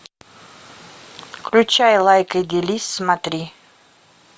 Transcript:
включай лайкай делись смотри